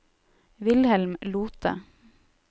Wilhelm Lothe